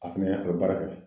A fɛnɛ o baara kɛ.